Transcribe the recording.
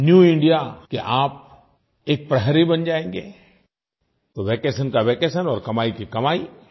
new India के आप एक प्रहरी बन जाएँगे तो वैकेशन का वैकेशन और कमाई की कमाई